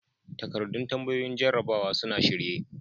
Takardun tambayoyin jarrabawa sun a shirye.